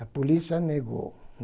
A polícia negou.